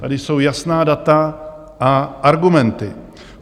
Tady jsou jasná data a argumenty.